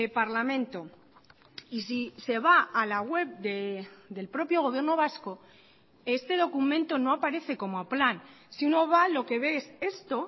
parlamento y si se va a la web del propio gobierno vasco este documento no aparece como plan sino va lo que ves esto